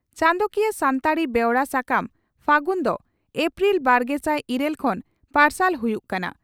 ᱪᱟᱸᱫᱚᱠᱤᱭᱟᱹ ᱥᱟᱱᱛᱟᱲᱤ ᱵᱮᱣᱨᱟ ᱥᱟᱠᱟᱢ 'ᱯᱷᱟᱹᱜᱩᱱ' ᱫᱚ ᱮᱯᱨᱤᱞ ᱵᱟᱨᱜᱮᱥᱟᱭ ᱤᱨᱟᱹᱞ ᱠᱷᱚᱱ ᱯᱟᱨᱥᱟᱞ ᱦᱩᱭᱩᱜ ᱠᱟᱱᱟ ᱾